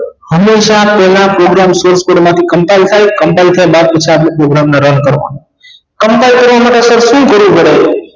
હમેશા પહેલા program center માંથી combine થાય compine થયા બાદ સાદું program ને run કરો combine ઍટલે શું કરવું પડે